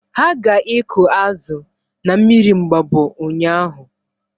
Ha ga ịkụ azụ na mmiri Mgbabọ ụnyaahụ